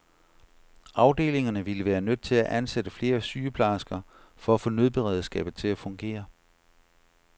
Afdelingerne ville være nødt til at ansætte flere sygeplejersker for at få nødberedskabet til at fungere.